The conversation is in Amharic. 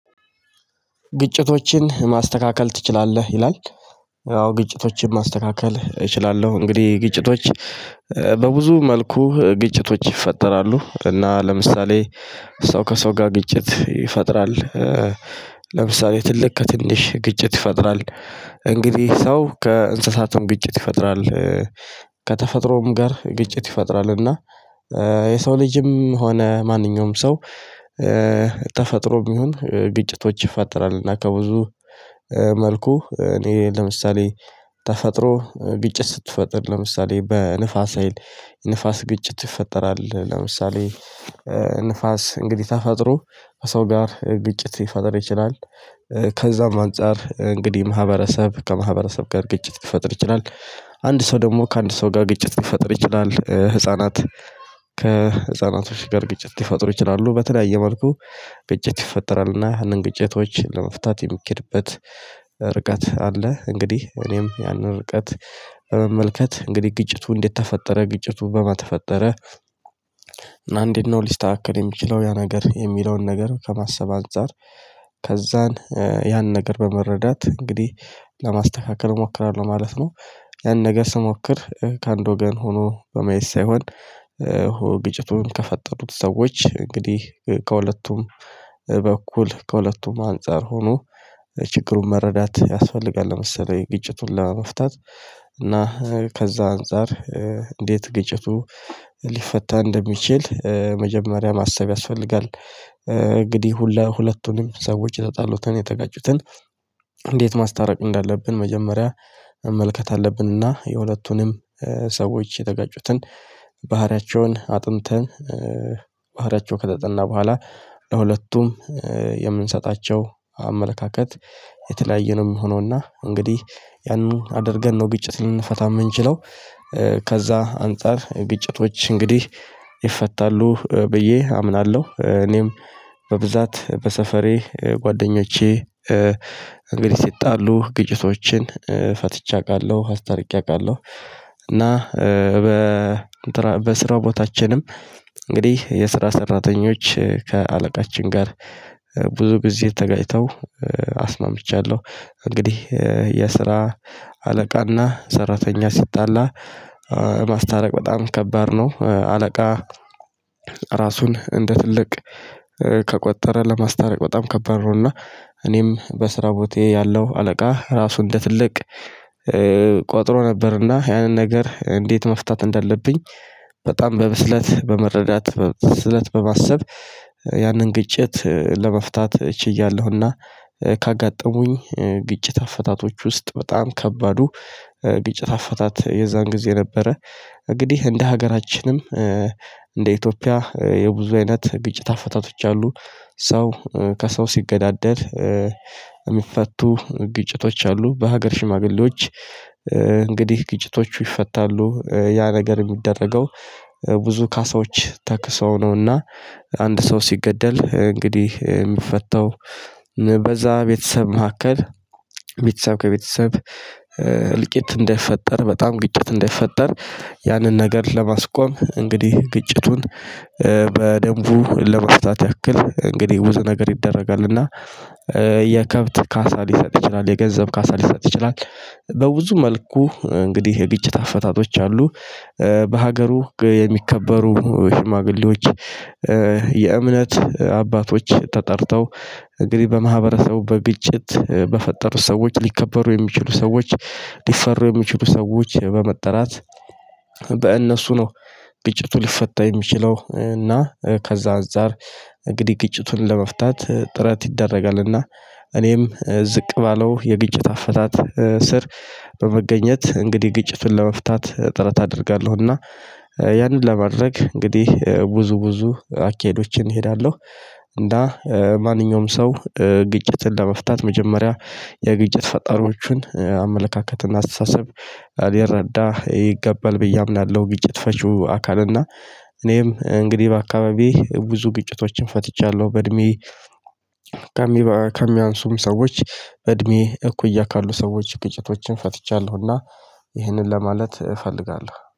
ግጭቶችን ማስተካከል ትችላለህ ይላል? አዎ ግጭቶችን ማስተካከል እችላለሁ። እንግዲህ ግጭቶች በብዙ መልኩ ግጭቶች ይፈጠራሉ እና ለምሳሌ ሰው ከሰው ጋር ግጭት ይፈጥራል። ለምሳሌ ትልቅ ከትንሽ ግጭት ይፈጥራል። እንግዲህ ሰው ከእንስሳትም ግጭት ይፈጥራል። ከተፈጥሮውም ጋር ግጭት ይፈጥራል እና የሰው ልጅም ሆነ ማንኛውም ሰው። ተፈጥሮም ይሁን ግጭቶች ይፈጠራል። እና ከብዙ መልኩ እኔ ለምሳሌ ተፈጥሮ ግጭት ስትፈጥር ለምሳሌ በንፋስ ሀይል ንፋስ ግጭት ይፈጠራል ለምሳሌ ንፋስ እንግዲህ ተፈጥሮ ከሰው ጋር ግጭት ሊፈጥር ይችላል። ከዛም አንፃር እንግዲህ ማህበረሰብ ከማህበረሰብ ጋር ግጭት ሊፈጥር ይችላል። አንድ ሰው ደግሞ ከአንድ ሰው ጋር ግጭት ሊፈጥር ይችላል ህፃናት ከህፃናቶች ጋር ግጭት ሊፈጥሩ ይችላሉ በተለያየ መልኩ ግጭት ይፈጠራል። እና ያንን ግጭቶች ለመፍታት የሚኬድበት ርቀት አለ። እንግዲህ እኔም ያንን ርቀት በመመልከት እንግዲህ ግጭቱ እንዴት ተፈጠረ ግጭቱ በማን ተፈጠረ? እና እንዴት ነው ሊስተካከል የሚችለው ያ ነገር የሚለውን ነገር ከማሰብ አንፃር። ከዛን ያን ነገር በመረዳት እንግዲህ ለማስተካከል እሞክራለሁ ማለት ነው። ያን ነገር ስሞክር ከአንድ ወገን ሆኖ በማየት ሳይሆን። ግጭቱን ከፈጠሩት ሰዎች እንግዲህ ከሁለቱም በኩል ከሁለቱም አንፃር ሆኖ ችግሩን መረዳት ያስፈልጋል። ለምሳሌ ግጭቱን ለመፍታት እና ከዛ አንፃር እንዴት ግጭቱ ሊፈታ እንደሚችል መጀመሪያ ማሰብ ያስፈልጋል። እንግዲህ ሁለቱንም ሰዎች የተጣሉትን የተጋጩትን እንዴት ማስታረቅ እንዳለብን መጀመሪያ መመልከት አለብንና የሁለቱንም ሰዎች የተጋጩትን ባህሪያቸውን አጥንተን ባህሪያቸው ከተጠና በኋላ ለሁለቱም የምንሰጣቸው አመለካከት የተለያየ ነው የሚሆነው እና እንግዲህ ያንን አድርገን ነው ግጭት ልንፈታ የምንችለው። ከዛ አንፃር ግጭቶች እንግዲህ ይፈታሉ ብዬ አምናለሁ። እኔም በብዛት በሰፈሬ ጓደኞቼ እንግዲህ ሲጣሉ ግጭቶችን ፈትቼ አውቃለሁ አስታርቄ አውቃለሁ። እና በ በስራው ቦታችንም እንግዲህ የስራ ሰራተኞች ከአለቃችን ጋር ብዙ ግዜ ከተጋጭተው አስማምቻለሁ። እንግዲህ የስራ አለቃና ሰራተኛ ሲጣላ ማስታረቅ በጣም ከባድ ነው። አለቃ ራሱን እንደ ትልቅ ከቆጠረ ለማስታረቅ በጣም ከባድ ነው። እና እኔም በስራ ቦታየ ያለው አለቃ ራሱ እንደ ትልቅ ቆጥሮ ነበርና ያንን ነገር እንዴት መፍታት እንዳለብኝ በጣም በብስለት በመረዳት በብስለት በማሰብ ያንን ግጭት ለመፍታት ችያለሁኝ። እና ካጋጠሙኝ ግጭት አፈታቶች ውስጥ በጣም ከባዱ ግጭት አፈታት የዛን ጊዜ ነበረ። እንግዲህ እንደ ሀገራችንም እንደ ኢትዮጵያ የብዙ አይነት ግጭት አፈታቶች አሉ። ሰው ከሰው ሲገዳደል የሚፈቱ ግጭቶች አሉ። በሀገር ሽማግሌዎች እንግዲህ ግጭቶቹ ይፈታሉ ያ ነገር የሚደረገው ብዙ ካሳዎች ተክሰው ነውና። አንድ ሰው ሲገደል እንግዲህ የሚፈታው በዛ ቤተሰብ መካከል ቤተሰብ ከቤተሰብ እልቂት እንዳይፈጠር በጣም ግጭት እንዳይፈጠር ያንን ነገር ለማስቆም እንግዲህ ግጭቱን በደንቡ ለማስታወስ ያክል እንግዲህ ብዙ ነገር ይደረጋል። እና የከብት ካሳ ሊሰጥ ይችላል የገንዘብ ካሳ ሊሰጥ ይችላል። በብዙ መልኩ እንግዲህ የግጭት ኣፈታቶች አሉ። በሀገሩ የሚከበሩ ሽማግሌዎች የእምነት አባቶች ተጠርተው እግዲህ በማህበረሰቡ በብቸት በፈጠሩት ሰዎች ሊከበሩ የሚችሉ ሰዎች ሊፈሩ የሚችሉ ሰዎች በመጥራት በእነሱ ነው። ግጭቱ ሊፈታ የሚችለው እና ከዛ አንፃር እንግዲህ ግጭቱን ለመፍታት ጥረት ይደረጋልና። እኔም ዝቅ ባለው የግጭት አፈታት ስር በመገኘት እንግዲህ ግጭቱን ለመፍታት ጥረት አደርጋለሁ። እና ያንን ለማድረግ እንግዲህ ብዙ ብዙ አካሄዶችን እሄዳለሁ። እና ማንኛውም ሰው ግጭትን ለመፍታት መጀመሪያ የግጭት ፈጣሪዎቹን አመለካከትና አስተሳሰብ ሊረዳ ይገባል ብዬ አምናለሁ። ግጭት ፈቹ አካል እና እኔም እንግዲህ በአካባቢዬ ብዙ ግጭቶችን ፈትቻለሁ። በእድሜ ከሚያንሱም ሰዎች በእድሜ እኩያ ካሉ ሰዎች ቁጭቶችን ፈትቻለሁና። ይህንን ለማለት እፈልጋለሁ